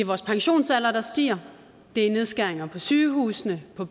vores pensionsalder der stiger ved nedskæringer på sygehusene og